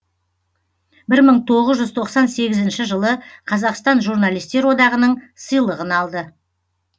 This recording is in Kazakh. бір мың тоғыз жүз тоқсан сегізінші жылы қазақстан журналистер одағының сыйлығын алды